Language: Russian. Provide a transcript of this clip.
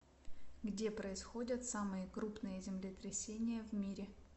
где происходят самые крупные землетрясения в мире